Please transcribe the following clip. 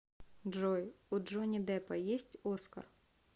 джой у джонни деппа есть оскар